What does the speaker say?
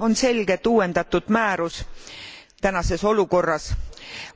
On selge, et uuendatud määrus tänases olukorras